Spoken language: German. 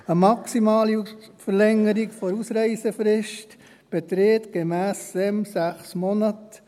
Eine maximale Verlängerung der Ausreisefrist beträgt gemäss SEM 6 Monate.